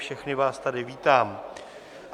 Všechny vás tady vítám.